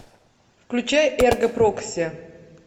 включай эрго прокси